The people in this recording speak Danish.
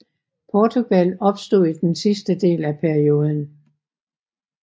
Portugal opstod i den sidste del af perioden